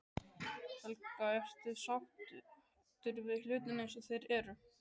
Helga: Ertu sáttur við hlutina eins og þeir eru?